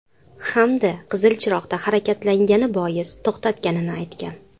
Hamda qizil chiroqda harakatlangani bois to‘xtatganini aytgan.